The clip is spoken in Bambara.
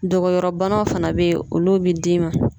Dogoyɔrɔbanaw fana be ye olu be d'i ma